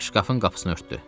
Şkafın qapısını örtdü.